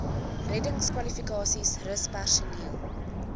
reddingskwalifikasies rus personeel